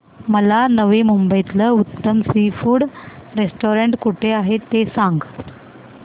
मला नवी मुंबईतलं उत्तम सी फूड रेस्टोरंट कुठे आहे ते सांग